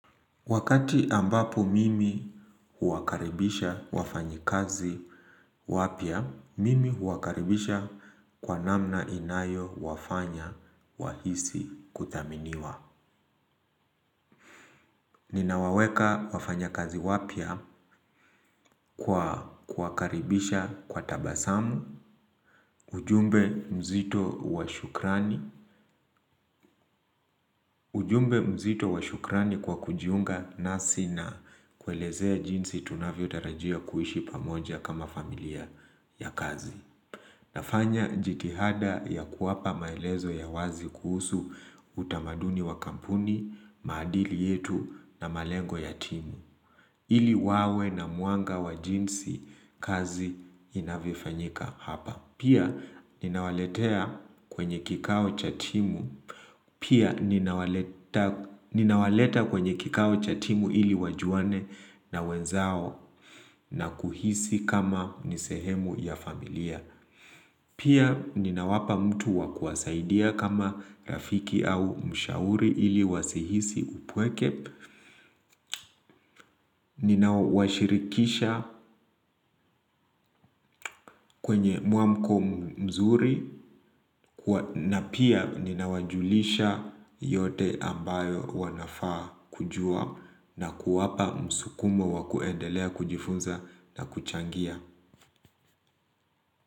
Wakati ambapo mimi huwakaribisha wafanyi kazi wapya, mimi huwakaribisha kwa namna inayo wafanya wahisi kuthaminiwa. Ninawaweka wafanya kazi wapya kwa kuwakaribisha kwa tabasamu, ujumbe mzito washukrani. Ujumbe mzito washukrani kwa kujiunga nasi na kuelezea jinsi tunavyo tarajia kuishi pamoja kama familia ya kazi. Nafanya jitihada ya kuwapa maelezo ya wazi kuhusu utamaduni wa kampuni, maadili yetu na malengo ya timu. Ili wawe na mwanga wa jinsi kazi inavyofanyika hapa pia. Pia ninawaleta kwenye kikao chatimu ili wajuane na wenzao na kuhisi kama nisehemu ya familia. Pia ninawapa mtu wakuwasaidia kama rafiki au mshauri ili wasihisi upweke, ninawashirikisha kwenye muamko mzuri na pia ninawajulisha yote ambayo wanafaa kujua na kuwapa msukumo wakuendelea kujifunza na kuchangia.